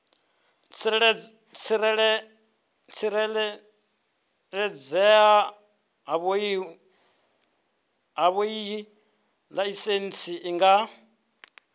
tsireledzea havhoiyi laisentsi i nga